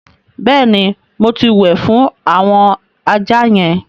Bẹ́ẹ̀ ni, mo ti wẹ̀ fún àwọn ajá yẹn.